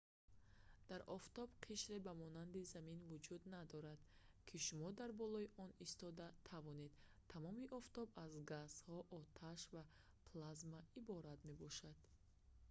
дар офтоб қишре ба монанди замин вуҷуд надорад ки шумо дар болои он истода тавонед тамоми офтоб аз газҳо оташ ва плазма иборат мебошад